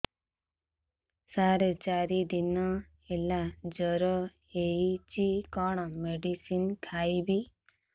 ସାର ଚାରି ଦିନ ହେଲା ଜ୍ଵର ହେଇଚି କଣ ମେଡିସିନ ଖାଇବି